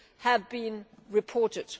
have been reported.